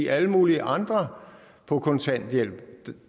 alle mulige andre på kontanthjælp